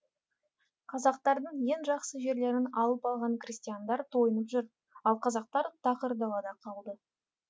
қазақтардың ең жақсы жерлерін алып алған крестьяндар тойынып жүр ал қазақтар тақыр далада қалды